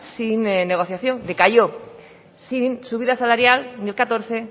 sin negociación decayó sin subida salarial ni el catorce